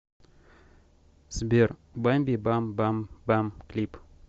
сбер бамби бам бам бам клип